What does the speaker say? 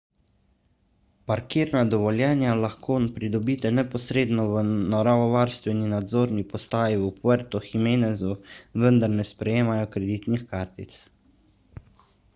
parkirna dovoljenja lahko pridobite neposredno v naravovarstveni nadzorni postaji v puertu jiménezu vendar ne sprejemajo kreditnih kartic